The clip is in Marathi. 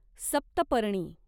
सप्तपर्णी